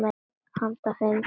Handa fimm til sex